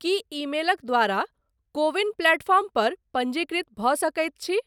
की ईमेलक द्वारा CoWIN platform पर पञ्जीकृत भऽ सकैत छी?